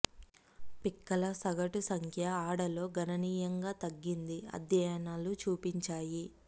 పిక్కల సగటు సంఖ్య ఆడ లో గణనీయంగా తగ్గింది అధ్యయనాలు చూపించాయి